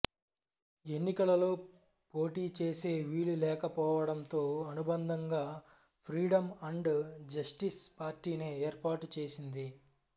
ఎన్నికలలో పోటీ చేసే వీలులేకపోవడంతో అనుబంధంగా ఫ్రీడమ్ అండ్ జస్టిస్ పార్టీని ఏర్పాటు చేసింది